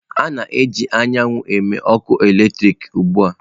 A na-eji ike anyanwụ eme ọkụ eletrik ugbu a.